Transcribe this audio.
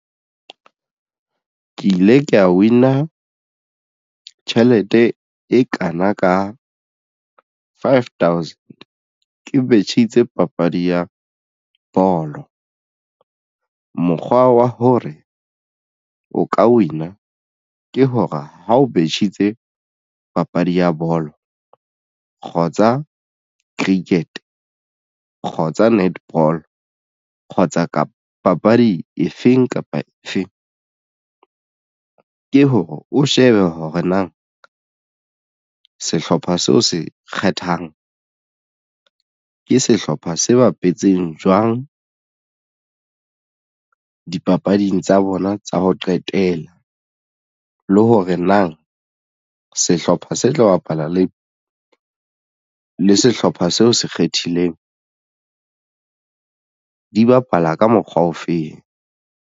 Ke ile ka win-a tjhelete e kana ka five thousand ke betjhitse papadi ya bolo. Mokgwa wa hore o ka win-a ke hore ha o betjhitse papadi ya bolo kgotsa cricket kgotsa netball kgotsa ka papadi efeng kapa efeng ke hore o shebe hore na sehlopha seo se kgethang ke sehlopha se bapetseng jwang dipapading tsa bona tsa ho qetela le hore na sehlopha se tlo bapala le sehlopha seo se kgethileng di bapala ka mokgwa ofeng.